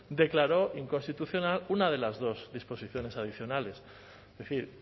declaró inconstitucional una de las dos disposiciones adicionales es decir